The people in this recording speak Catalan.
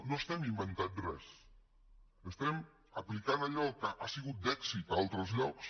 no estem inventant res estem aplicant allò que ha sigut d’èxit a altres llocs